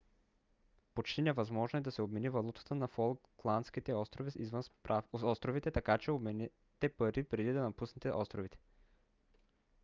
почти невъзможно е да се обмени валутата на фолкландските острови извън островите така че обменете пари преди да напуснете островите